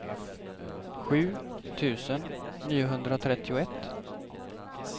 sju tusen niohundratrettioett